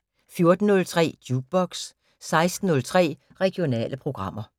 14:03: Jukebox 16:03: Regionale programmer